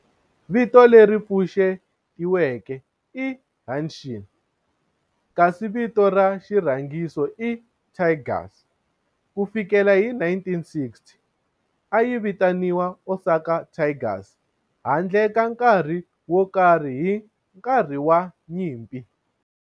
Vito leri pfuxetiweke i"Hanshin" kasi vito ra xirhangiso i"Tigers". Ku fikela hi 1960, a yi vitaniwa Osaka Tigers handle ka nkarhi wo karhi hi nkarhi wa nyimpi.